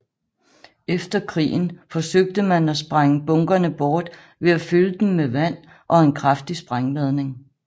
Efter krigen forsøgte man at sprænge bunkerne bort ved at fylde dem med vand og en kraftig sprængladning